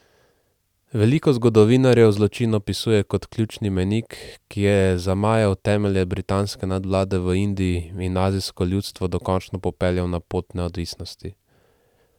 Veliko zgodovinarjev zločin opisuje kot ključni mejnik, ki je zamajal temelje britanske nadvlade v Indiji in azijsko ljudstvo dokončno popeljal na pot neodvisnosti.